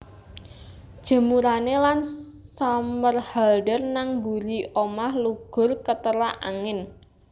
Jemurane Ian Somerhalder nang mburi omah lugur keterak angin